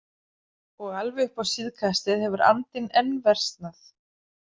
Og alveg upp á síðkastið hefur andinn enn versnað.